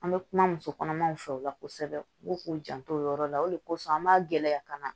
An bɛ kuma muso kɔnɔmaw fɛ o la kosɛbɛ u k'u janto o yɔrɔ la o de kosɔn an b'a gɛlɛya ka na